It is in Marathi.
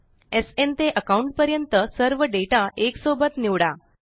एसएन ते अकाउंट पर्यंत सर्व डेटा एकसोबत निवडा